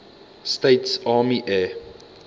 states army air